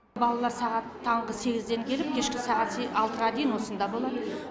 балалар сағат таңғы сегізден келіп кешкі сағат алтыға дейін осында болады